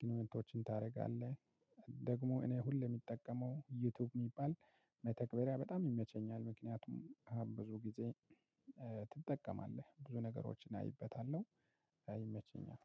ግንኙነቶችን ታደርጋለህ። ደግሞ እኔ ሁሌ የሚጠቀመው ዩቲዩብ የሚባል መተክበሪያ በጣም ይመቸኛል። ምክንያቱም ብዙ ጊዜ ትጠቀማለህ ብዙ ነገሮችን አይበታለሁ። እና ይመቸኛል።